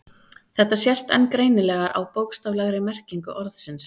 Þetta sést enn greinilegar á bókstaflegri merkingu orðsins.